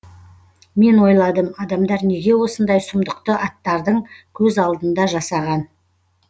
мен ойладым адамдар неге осындай сұмдықты аттардың көз алдында жасаған